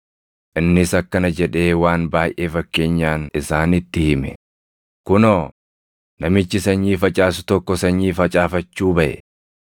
Innis akkana jedhee waan baayʼee fakkeenyaan isaanitti hime; “Kunoo, namichi sanyii facaasu tokko sanyii facaafachuu baʼe.